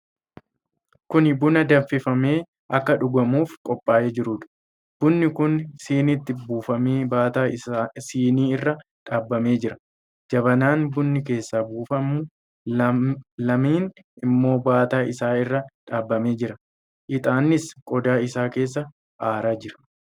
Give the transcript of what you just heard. Kun buna danfifamee akka dhugamuuf qophaa'ee jiruudha. Bunni kun siniitti buufamee baataa sinii irra dhaabamee jira. Jabanaan bunni keessaa buufamu lamni immoo baataa isaa irra dhaabamee jira. Ixaannis qodaa isaa keessaa aaraa jira.